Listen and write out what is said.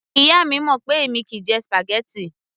Ìyá mi mọ̀ pé èmi kìí jẹ spaghetti